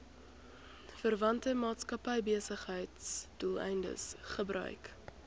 verwante maatskappybesigheidsdoeleindes gebruik